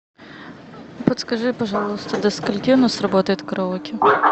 подскажи пожалуйста до скольки у нас работает караоке